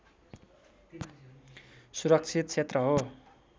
सुरक्षित क्षेत्र हो